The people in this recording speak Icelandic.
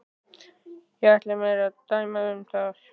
Ég ætla mér ekki að dæma um það.